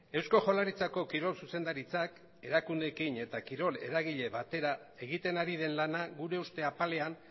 eusko jaurlaritzako kirol zuzendaritzak erakundeekin eta kirol eragile batera egiten ari den lana gure uste apalean